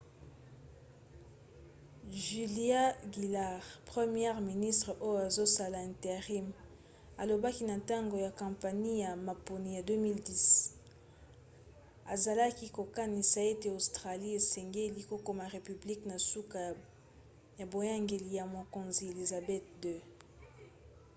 julia gillard première ministre oyo azosala intérim alobaki na ntango ya kampanie ya maponi ya 2010 azalaki kokanisa ete australie esengeli kokoma république na suka ya boyangeli ya mokonzi elizabeth ii